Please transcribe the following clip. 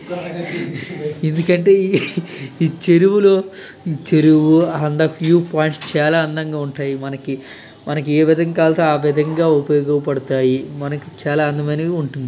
ఎందుకంటే ఈ చెరువులో చెరువు చాలా అందంగా ఉంటాయి మనకి మనకి ఏ విధంగా కావాలంటే ఆ విధంగా ఉపయోగపడతాయిమనకి చాలా అందమైనవి ఉంటాయి.